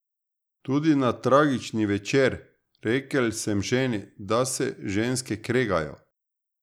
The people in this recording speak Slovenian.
Tudi na tragični večer: 'Rekel sem ženi, da se ženske kregajo.